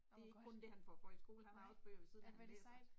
Det ikke kun det han får for i skole han har også bøger ved siden af han læser